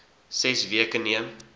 ses weke neem